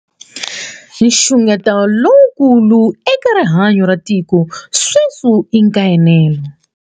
Nxungeto lowukulu eka rihanyu ra tiko sweswi I nkaenelo.